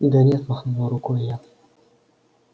да нет махнула рукой я